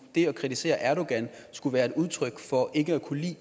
det at kritisere erdogan skulle være et udtryk for ikke at kunne lide